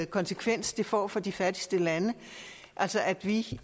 konsekvens det får for de fattigste lande at vi